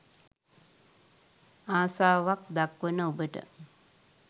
ආසාවක් දක්වන ඔබට